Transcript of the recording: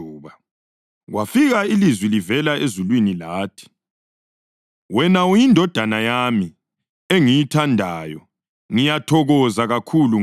Kwafika ilizwi livela ezulwini lathi: “Wena uyiNdodana yami engiyithandayo; ngiyathokoza kakhulu ngawe.”